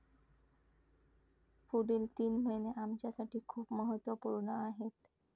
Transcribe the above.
पुढील तीन महिने आमच्यासाठी खूप महत्त्वपूर्ण आहेत.